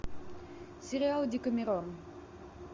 сериал декамерон